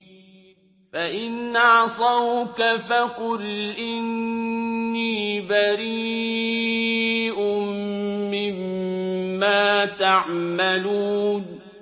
فَإِنْ عَصَوْكَ فَقُلْ إِنِّي بَرِيءٌ مِّمَّا تَعْمَلُونَ